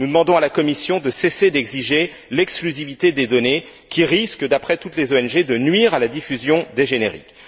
Nous demandons à la Commission de cesser d'exiger l'exclusivité des données, qui risque, d'après toutes les ONG, de nuire à la diffusion des génériques.